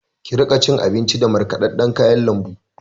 Ki riƙa cin abinji da markaɗaɗɗan kayan lambu!